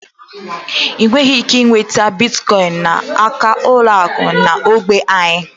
Ị nweghị ike nweta Biticoinu n'aka ụlọ akụ dị n'ógbè anyị.